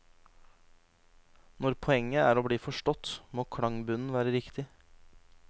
Når poenget er å bli forstått, må klangbunnen være riktig.